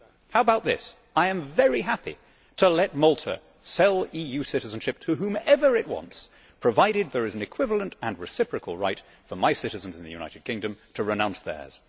How about this? I am very happy to let Malta sell EU citizenship to whomever it wants, provided there is an equivalent and reciprocal right for my citizens in the United Kingdom to renounce theirs.